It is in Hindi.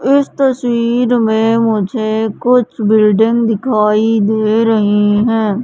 इस तस्वीर में मुझे कुछ बिल्डिंग दिखाई दे रही है।